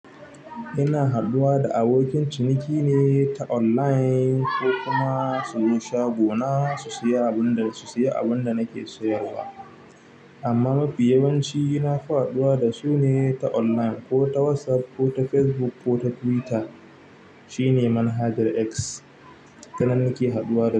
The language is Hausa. Ina haɗuwa da abokin ciniki ne ta online ko kuma su zo shagona su siyo abin da, su siya abinda nake sayarwa. Amma mafi yawanci na fi haɗuwa da su ne ta online ko ta WhatsApp ko ta Facebook ko ta Twitter. Shine manhajar X ta nan nake haɗuwa da su.